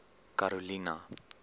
karolina